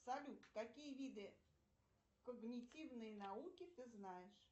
салют какие виды когнитивной науки ты знаешь